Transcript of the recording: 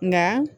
Nka